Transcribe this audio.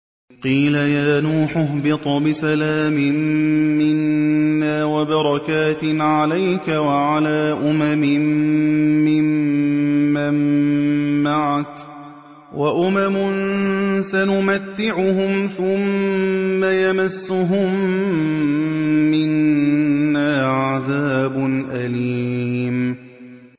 قِيلَ يَا نُوحُ اهْبِطْ بِسَلَامٍ مِّنَّا وَبَرَكَاتٍ عَلَيْكَ وَعَلَىٰ أُمَمٍ مِّمَّن مَّعَكَ ۚ وَأُمَمٌ سَنُمَتِّعُهُمْ ثُمَّ يَمَسُّهُم مِّنَّا عَذَابٌ أَلِيمٌ